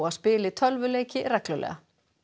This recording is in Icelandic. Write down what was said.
spili tölvuleiki reglulega